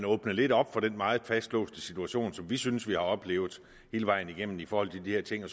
åbne lidt op for den meget fastlåste situation som vi synes vi har oplevet hele vejen igennem i forhold til de her ting